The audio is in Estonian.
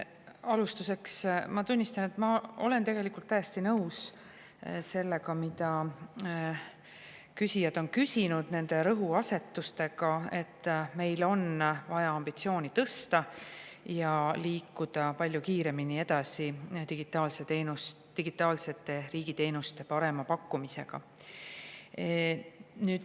Alustuseks ma tunnistan, et ma olen täiesti nõus sellega, mida küsijad on küsinud, ja selle rõhuasetusega, et meil on vaja ambitsiooni tõsta ja liikuda palju kiiremini edasi digitaalsete riigi teenuste parema pakkumisega.